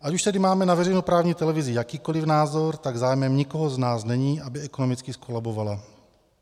Ať už tedy máme na veřejnoprávní televizi jakýkoliv názor, tak zájmem nikoho z nás není, aby ekonomicky zkolabovala.